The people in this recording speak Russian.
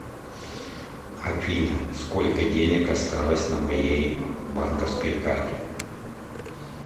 афина сколько денег осталось на моей банковской карте